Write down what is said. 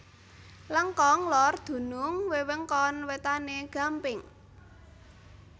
Lengkong Lor dunung wewengkon wetane Gampeng